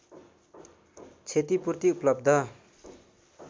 क्षतिपूर्ति उपलब्ध